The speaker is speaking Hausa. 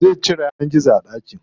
Zai cire yanar gizo a ɗakin.